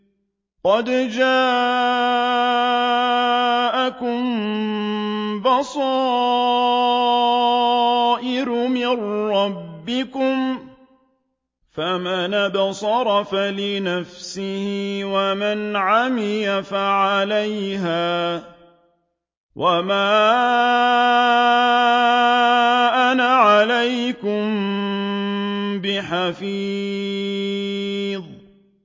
قَدْ جَاءَكُم بَصَائِرُ مِن رَّبِّكُمْ ۖ فَمَنْ أَبْصَرَ فَلِنَفْسِهِ ۖ وَمَنْ عَمِيَ فَعَلَيْهَا ۚ وَمَا أَنَا عَلَيْكُم بِحَفِيظٍ